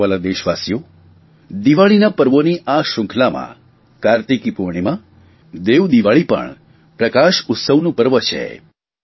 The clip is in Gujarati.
મારા વ્હાલા દેશવાસીઓ દિવાળીના પર્વોની આ શ્રૃંખલામાં કાર્તિકી પૂર્ણિમાના દેવદિવાળીના પ્રકાશ ઉત્સવનું પણ પર્વ છે